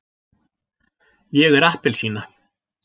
ég er appelsína.